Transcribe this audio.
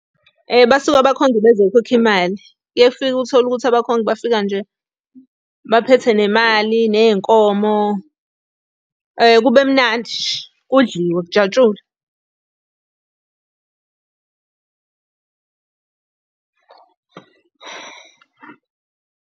Basuke abakhongi bezokhokha imali. Kuye kufike uthole ukuthi abakhongi bafika nje baphethe nemali, ney'nkomo, kube mnandi nje, kudliwe, kujatshulwe.